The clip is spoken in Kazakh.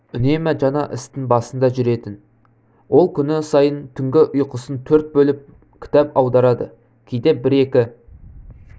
үнемі жаңа істің басында жүретін ол күн сайын түнгі ұйқысын төрт бөліп кітап аударады кейде бір-екі